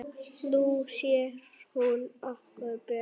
Nú sér hún okkur betur